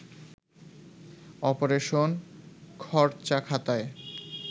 operation খরচাখাতায়